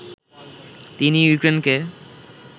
তিনি ইউক্রেনকে